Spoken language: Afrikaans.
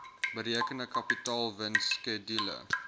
berekende kapitaalwins skedule